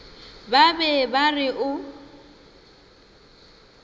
ba be ba re o